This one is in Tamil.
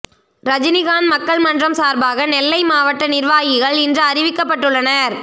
ரஜினிகாந்த் மக்கள் மன்றம் சார்பாக நெல்லை மாவட்ட நிர்வாகிகள் இன்று அறிவிக்கப்பட்டுள்ளனர்